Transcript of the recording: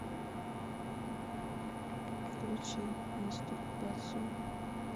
включи мастур бацию